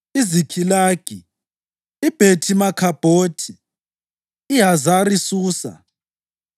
iZikhilagi, iBhethi-Makhabhothi, iHazari-Susa,